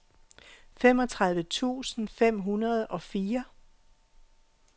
femogtredive tusind fem hundrede og fire